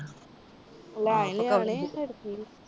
ਫਿਰ ਕਿ।